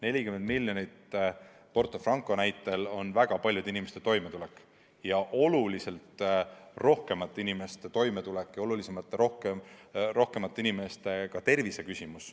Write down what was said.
40 miljonit Porto Franco näitel – selle taga on väga paljude inimeste toimetulek, oluliselt rohkemate inimeste toimetulek ja ka oluliselt rohkemate inimeste tervis.